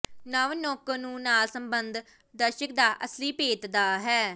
ਨਵ ਨੌਕਰ ਨੂੰ ਨਾਲ ਸੰਬੰਧ ਦਰਸ਼ਕ ਦਾ ਅਸਲੀ ਭੇਤ ਦਾ ਹੈ